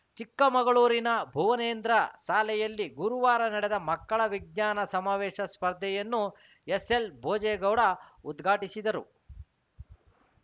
ಚಿಕ್ಕಮಗಳೂರಿನ ಭುವನೇಂದ್ರ ಸಾಲೆಯಲ್ಲಿ ಗುರುವಾರ ನಡೆದ ಮಕ್ಕಳ ವಿಜ್ಞಾನ ಸಮಾವೇಶ ಸ್ಪರ್ಧೆಯನ್ನು ಎಸ್‌ಎಲ್‌ಭೋಜೇಗೌಡ ಉದ್ಘಾಟಿಸಿದರು